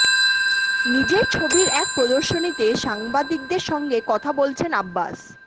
নিজের ছবির এক প্রদর্শনীতে সাংবাদিকদের সঙ্গে কথা বলছেন আব্বাস